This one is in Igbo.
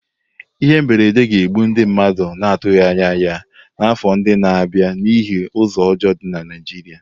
Ihe mberede ga-egbu ndụ mmadụ na-atụghị anya ya n'afọ ndị na-abịa n'ihi ụzọ ọjọọ dị na Naịjirịa.